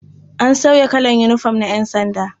A sauya kalar yinifom na ƴansanda.